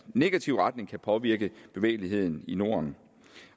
negativ retning kan påvirke bevægeligheden i norden